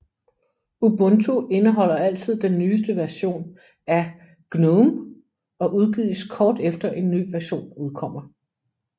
Ubuntu indeholder altid den nyeste version af GNOME og udgives kort efter en ny version udkommer